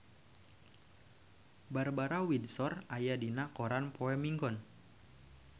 Barbara Windsor aya dina koran poe Minggon